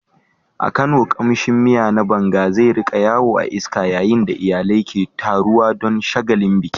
A Kano, kamshin miya na banga zai rika yawo a iska yayin da iyalai ke taruwa don shagalin biki.